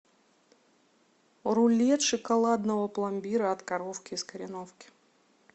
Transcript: рулет шоколадного пломбира от коровки из кореновки